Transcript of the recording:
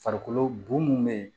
Farikolo bon mun be yen